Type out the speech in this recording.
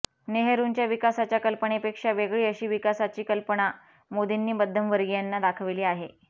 नेहरूंच्या विकासाच्या कल्पनेपेक्षा वेगळी अशी विकासाची कल्पना मोदींनी मध्यमवर्गीयांना दाखवली आहे